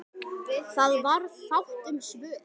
Það varð fátt um svör.